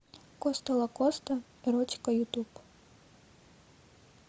коста лакоста эротика ютуб